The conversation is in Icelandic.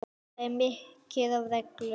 Það er mikið af reglum.